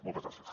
moltes gràcies